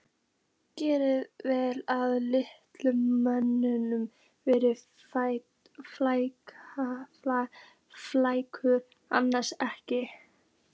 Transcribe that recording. Græðir vel ef listamaðurinn verður frægur, annars ekkert.